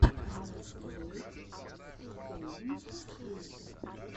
найтблэйд севенти ссри